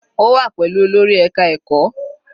Ó wà pẹ̀lú olórí ẹka ẹ̀kọ́.